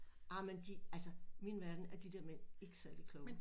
Amen de altså min verden er de der mænd ikke særlig kloge